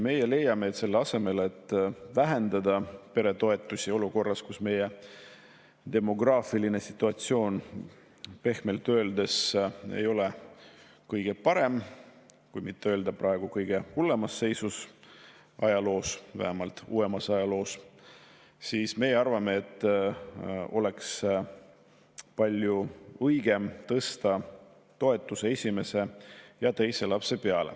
Meie leiame, et selle asemel, et vähendada peretoetusi olukorras, kus meie demograafiline situatsioon pehmelt öeldes ei ole kõige parem, et mitte öelda kõige hullemas seisus ajaloos, vähemalt uuemas ajaloos, siis me arvame, et oleks palju õigem tõsta toetust ka esimesel ja teisel lapsel.